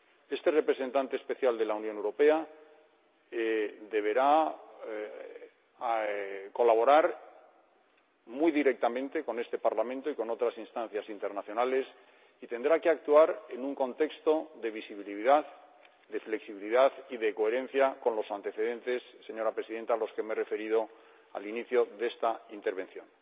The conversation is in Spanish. Este Representante Especial de la Unión Europea deberá colaborar muy directamente con este Parlamento y con otras instancias internacionales y tendrá que actuar en un contexto de visibilidad, flexibilidad y coherencia con los antecedentes, señora Presidenta, a los que me he referido al inicio de esta intervención.